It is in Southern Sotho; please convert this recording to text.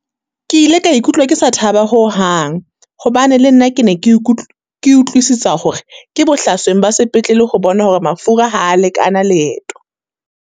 Ke ile ka ikutlwa ke sa thaba ho hang, hobane le nna ke ne ke ke utlwisisa hore ke bohlasweng ba sepetlele ho bona hore mafura ha a lekana leeto.